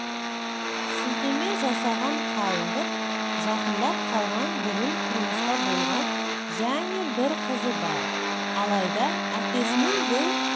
сілтеме жасаған қалыңдық жақындап қалған бұрын тұрмыста болған және бір қызы бар алайда әкесінің бұл